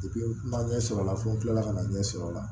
n ma ɲɛ sɔrɔ a la fo n kilala ka na ɲɛ sɔrɔ o la